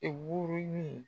E woro